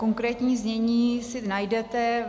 Konkrétní znění si najdete.